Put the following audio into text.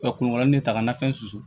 Ka kungo lanfɛn